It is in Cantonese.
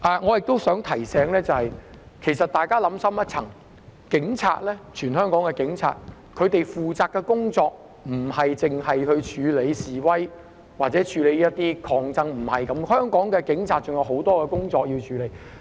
我亦想提醒大家，其實香港警察負責的工作不單是處理示威和抗爭，香港警察還有很多其他工作要處理。